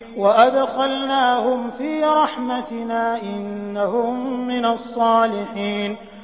وَأَدْخَلْنَاهُمْ فِي رَحْمَتِنَا ۖ إِنَّهُم مِّنَ الصَّالِحِينَ